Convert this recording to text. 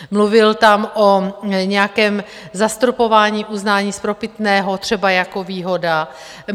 Mluvil tam o nějakém zastropování uznání spropitného, třeba jako výhoda.